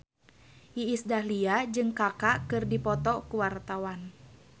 Iis Dahlia jeung Kaka keur dipoto ku wartawan